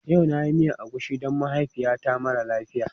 Yau na yi miyar agushi don mahaifiyata mara lafiya.